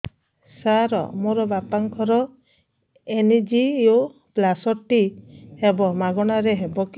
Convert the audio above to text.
ସାର ମୋର ବାପାଙ୍କର ଏନଜିଓପ୍ଳାସଟି ହେବ ମାଗଣା ରେ ହେବ କି